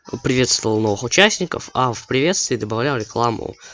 приветствовал новых участников а в приветствии добавлял рекламу